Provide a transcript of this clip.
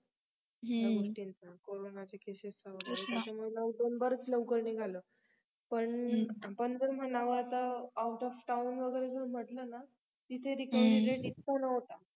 ह्या गोस्टींचा corona च्या CASES चा वगैरे त्यांच्यामुळे lockdown बर्‍याच लवकर निघालं पण आपण जर म्हणावं तर OUT OF town वगेरे जर म्हंटले न तिथ recovery rate इतकं नव्हता